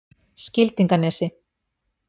Skildinganesi